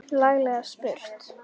Laglega spurt!